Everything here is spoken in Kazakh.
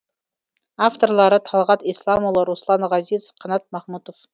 авторлары талғат исламұлы руслан ғазизов қанат махмұтов